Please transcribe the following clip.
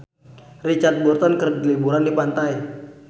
Richard Burton keur liburan di pantai